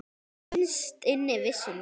Innst inni vissi hún það.